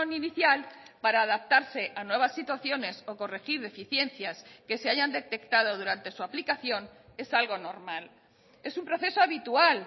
inicial para adaptarse a nuevas situaciones o corregir deficiencias que se hayan detectado durante su aplicación es algo normal es un proceso habitual